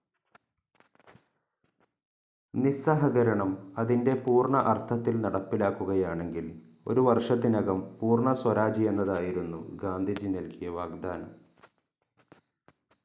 നിസ്സഹകരണം അതിൻ്റെ പൂർണ്ണ അർത്ഥത്തിൽ നടപ്പിലാക്കുകയാണെങ്കിൽ ഒരു വർഷത്തിനകം പൂർണ്ണ സ്വരാജ് എന്നതായിരുന്നു ഗാന്ധിജി നൽകിയ വാഗ്ദാനം.